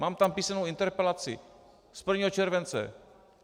Mám tam písemnou interpelaci z 1. července.